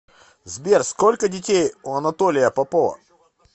сбер сколько детей у анатолия попова